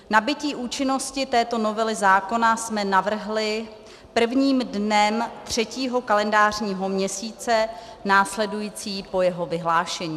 Nabytí účinnosti této novely zákona jsme navrhli prvním dnem třetího kalendářního měsíce následující po jeho vyhlášení.